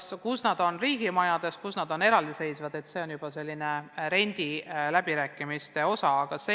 Mõnel pool asuvad need riigimajades, mõnel pool kusagil eraldi – see on sõltunud rendiläbirääkimistest.